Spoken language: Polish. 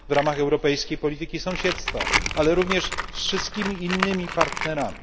w ramach europejskiej polityki sąsiedztwa, ale również z wszystkimi innymi partnerami.